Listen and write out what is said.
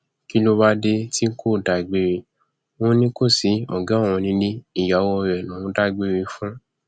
kí ló wáá dé tí kò dágbére ò ní kó ṣi ọgá òun nílé ìyàwó rẹ lòún dágbére fún